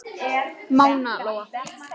Mána Lóa.